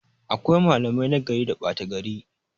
Akwai malamai nagari da ɓata gari